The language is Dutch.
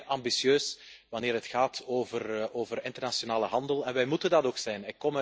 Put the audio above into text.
We zijn zeer ambitieus wanneer het gaat over internationale handel en wij moeten dat ook zijn.